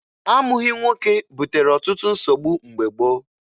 Amụghị nwoke butere ọtụtụ nsogbu mgbe gboo.